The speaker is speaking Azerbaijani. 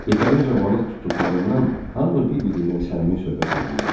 Yetərincə balıq tutduqlarından hamı bir-birindən səmimi söhbət eləyirdi.